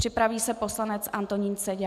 Připraví se poslanec Antonín Seďa.